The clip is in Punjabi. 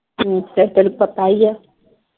ਤੈਨੂੰ ਪਤਾ ਹੀ ਆ।